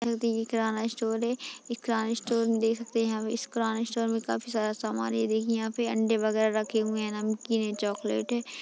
जो की ये किराना स्टोर है इस किराने स्टोर मे देख सकते है हमे इस किराना स्टोर में काफी सारा सामान ये देखिए यहाँ पे अंडे वगैरा रखे हुए है नमकीन है चॉकलेट है।